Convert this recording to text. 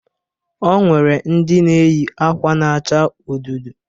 O nwere ndị na-eyị akwa na-acha ododo.